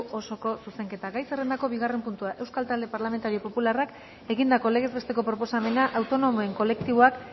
osoko zuzenketa gai zerrendako bigarren puntua euskal talde parlamentario popularrak egindako legez besteko proposamena autonomoen kolektiboak